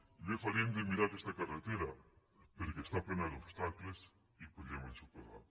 i bé faríem de mirar aquesta carretera perquè està plena d’obstacles i podríem ensopegar